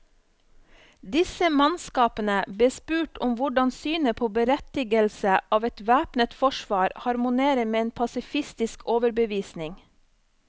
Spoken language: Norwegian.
Disse mannskapene bes spurt om hvordan synet på berettigelsen av et væpnet forsvar harmonerer med en pasifistisk overbevisning.